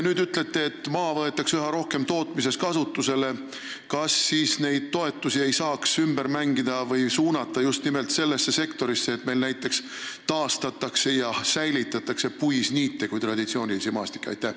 Kui te ütlete nüüd, et maad võetakse üha rohkem tootmises kasutusele, siis kas neid toetusi ei saaks ümber mängida või suunata just nimelt sellesse sektorisse, et meil näiteks taastataks ja säilitataks puisniite kui traditsioonilisi maastikke?